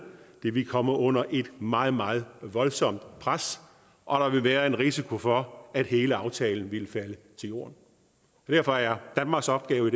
det ville komme under et meget meget voldsomt pres og der ville være en risiko for at hele aftalen ville falde til jorden derfor er danmarks opgave